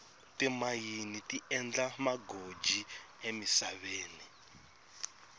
timayini ti endla magoji emisaveni